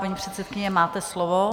Paní předsedkyně, máte slovo.